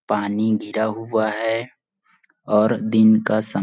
पानी गिरा हुआ है और दिन का समय--